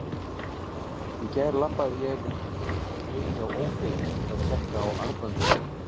Í gær labbaði ég við hjá Ófeigi til að tékka á armböndunum.